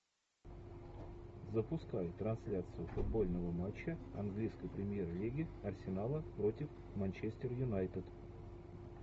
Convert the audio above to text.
запускай трансляцию футбольного матча английской премьер лиги арсенала против манчестер юнайтед